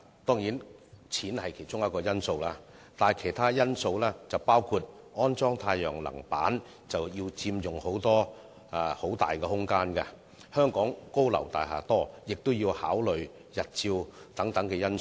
當然，金錢是其中一個因素，但也有其他因素，包括安裝太陽能板要佔用大量的空間，而且香港有很多高樓大廈，亦要考慮日照等因素。